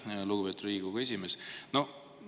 Aitäh, lugupeetud Riigikogu esimees!